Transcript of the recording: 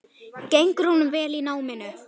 Gengur honum vel í náminu?